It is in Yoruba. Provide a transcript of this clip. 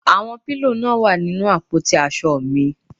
Àwọn pílò náà wà ní inú àpótí aṣọ mi